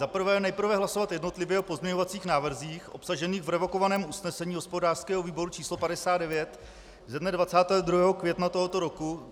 Za prvé, nejprve hlasovat jednotlivě o pozměňovacích návrzích obsažených v revokovaném usnesení hospodářského výboru číslo 59 ze dne 22. května tohoto roku.